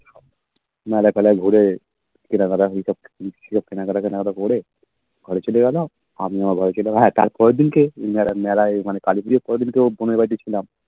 মেলায় ঘুরে কেনাকাটা করে ঘরে চলে গেলো আমিও ঘরে চলে গেলাম হে তারপরের দিন কি মেলায় মেলায় মানে তারপরের দিন তো বোনের বাড়িতে ছিলাম